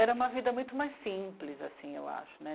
Era uma vida muito mais simples, assim eu acho, né?